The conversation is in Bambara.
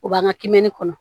O b'an ka kimɛni kɔnɔ